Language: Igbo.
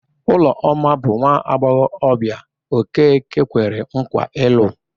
Ụlọma bụ nwaagbọghọbịa Okeke kwere nkwa ịlụ